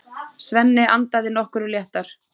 Svenni andað nokkru léttar.